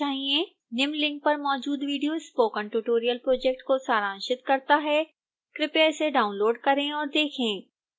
निम्न लिंक पर मौजूद विडियो स्पोकन ट्यूटोरियल प्रोजेक्ट को सारांशित करता है कृपया इसे डाउनलोड करें और देखें